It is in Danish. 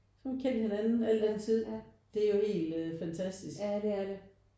Så har vi kendt hinanden al den tid det er jo helt fantastisk